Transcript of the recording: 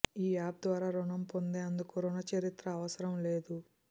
ఈ యాప్ ద్వారా రుణం పొందేందుకు రుణ చరిత్ర అవసరం లేదు